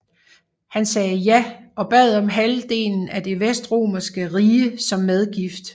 Han sagde ja og bad om halvdelen af det vestromerske rige som medgift